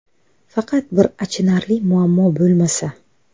Faqat bir achinarli muammo bo‘lmasa.